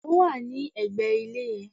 Ó wà ní ẹ̀gbẹ̀ ilé yẹn